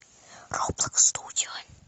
роблокс студио